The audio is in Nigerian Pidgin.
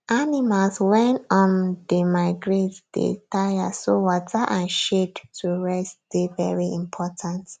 animals wen um dey migrate dey tire so water and shade to rest dey very important